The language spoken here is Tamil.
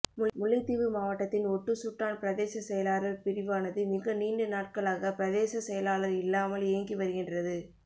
முல்லைத்தீவு மாவட்டத்தின் ஒட்டுசுட்டான் பிரதேச செயலாளர் பிரிவானது மிக நீண்ட நாட்களாக பிரதேச செயலாளர் இல்லாமல் இயங்கி வருகின்றது